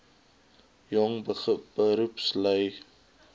jong beroepslui jbp